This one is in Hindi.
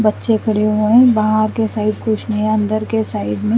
बच्चे खड़े हुए हैं वहां के साइड कुछ नहीं अंदर के साइड में--